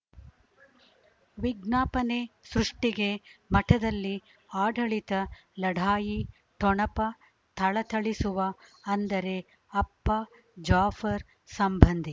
ವಿಜ್ಞಾಪನೆ ಸೃಷ್ಟಿಗೆ ಮಠದಲ್ಲಿ ಆಡಳಿತ ಲಢಾಯಿ ಠೊಣಪ ಥಳಥಳಿಸುವ ಅಂದರೆ ಅಪ್ಪ ಜಾಫರ್ ಸಂಬಂಧಿ